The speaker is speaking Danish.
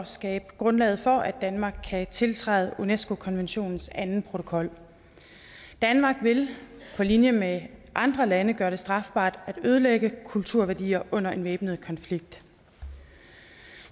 skabe grundlag for at danmark kan tiltræde unesco konventionens anden protokol danmark vil på linje med andre lande gøre det strafbart at ødelægge kulturværdier under en væbnet konflikt